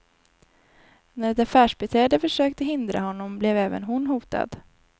När ett affärsbiträde försökte hindra honom blev även hon hotad.